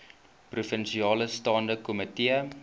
provinsiale staande komitee